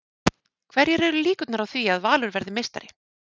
Hverjar eru líkurnar á því að Valur verði meistari?